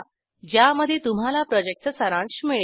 ज्यामध्ये तुम्हाला प्रॉजेक्टचा सारांश मिळेल